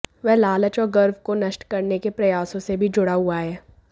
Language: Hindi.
वह लालच और गर्व को नष्ट करने के प्रयासों से भी जुड़ा हुआ है